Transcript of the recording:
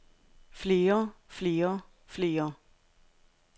flere flere flere